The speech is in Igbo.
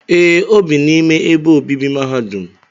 Ee, o bi n'ime ebe obibi mahadum